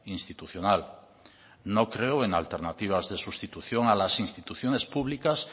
institucional no creo en alternativas de sustitución a las instituciones públicas